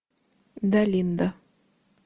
далинда